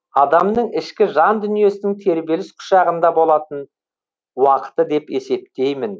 адамның ішкі жан дүниесінің тербеліс құшағында болатын уақыты деп есептеймін